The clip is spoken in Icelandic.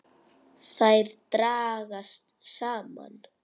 Þær dragast saman.